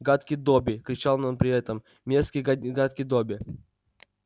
гадкий добби кричал он при этом мерзкий гадкий добби